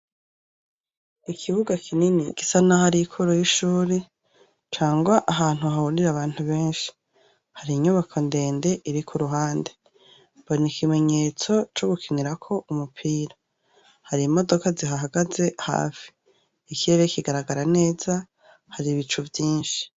Ikibuga kinini gisa n'aho ari kuru y'ishuri cangwa ahantu hahurira abantu benshi, har'inyubako ndende mbona ikimenyetso co gukinirako umupira har'imodoka zihahagaze hafi, ikirere kigaragara neza har'ibicu vyinshi.